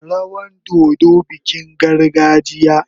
Rawan dodo bikin gargajiya.